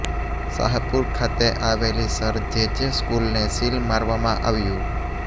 શાહપુર ખાતે આવેલી Sir J J સ્કૂલને સીલ મારવામાં આવ્યું